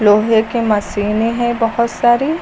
लोहे की मशीने है बहोत सारी।